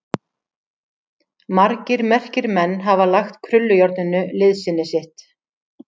Margir merkir menn hafa lagt krullujárninu liðsinni sitt.